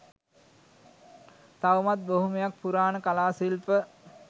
තවමත් බොහොමයක් පුරාණ කලා ශිල්ප